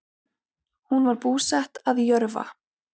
Hún var búsett að Jörfa